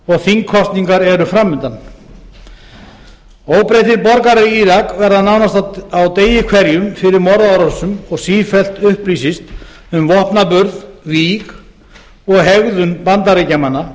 og þingkosningar eru fram undan óbreyttir borgarar í írak verða nánast á degi hverjum fyrir morðárásum og sífellt upplýsist um vopnaburð víg og hegðun bandaríkjamanna